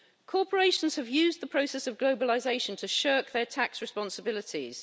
Corporations have used the process of globalisation to shirk their tax responsibilities.